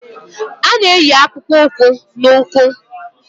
A na-eyi akpụkpọ ụkwụ n'ụkwụ